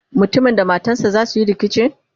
mutumin da matansa zasuyi rikici?